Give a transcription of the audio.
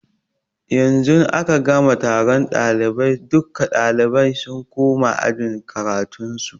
Yanzu aka gama taron ɗalibai, duka ɗalibai sun koma ajin karatun su